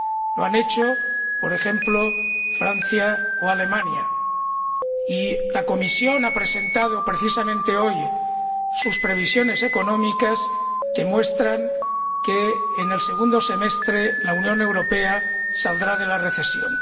Lo han hecho, por ejemplo, Francia o Alemania, y la Comisión ha presentado, precisamente hoy, sus previsiones económicas, que muestran que en el segundo semestre la Unión Europea saldrá de la recesión.